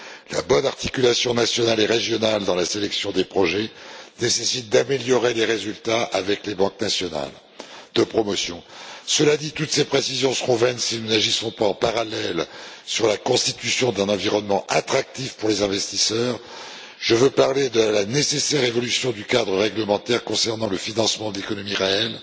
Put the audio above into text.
La bonne articulation nationale et régionale dans la sélection des projets nécessite d'améliorer les résultats avec les banques nationales de promotion. Cela dit, toutes ces précisions seront vaines si nous n'agissons pas en parallèle sur la constitution d'un environnement attractif pour les investisseurs, je veux parler de la nécessaire évolution du cadre réglementaire concernant le financement de l'économie réelle,